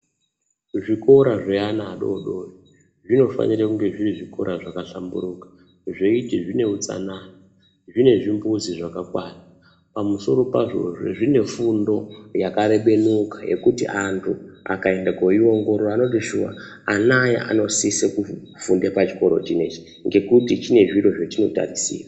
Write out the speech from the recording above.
Zvikora zvaana adoodori zvinofanira kunga zviri zvikora zvakahlamburuka zveiti zvine utsanana , zvine zvimbuzi zvakakwana pamusoro pazvozve zvine fundo yakarebenuka yekuti antu akaenda koiongorora anoti shuwa anaya anosise kufunde pachikoro chinechi ngekuti chine zviro zvechinotarisirwa.